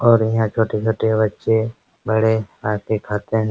और यहाँ छोटे छोटे बच्चे बड़े आते खाते --